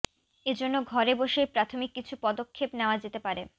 এ জন্য ঘরে বসেই প্রাথমিক কিছু পদক্ষেপ নেওয়া যেতে পারে